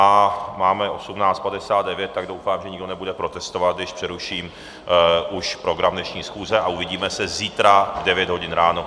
A máme 18.59, tak doufám, že nikdo nebude protestovat, když přeruším už program dnešní schůze a uvidíme se zítra v devět hodin ráno.